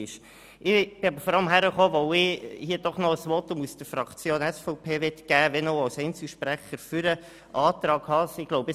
Nun bin stehe ich aber vor allem am Rednerpult, weil ich als Einzelsprecher ein Votum vonseiten der SVP-Fraktion für den Antrag Haas abgeben möchte.